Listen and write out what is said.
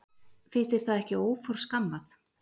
Finnst þér það ekki óforskammað?